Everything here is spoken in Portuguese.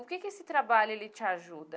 O que que esse trabalho ele te ajuda?